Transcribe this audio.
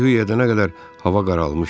Hay-huy edənə qədər hava qaralmışdı.